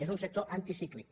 és un sector anticíclic